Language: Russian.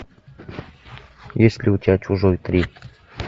есть ли у тебя чужой три